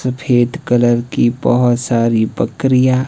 सफेद कलर की बहोत सारी बकरीयां--